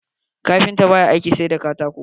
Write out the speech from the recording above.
Kafinta ba ya aiki sai da katako.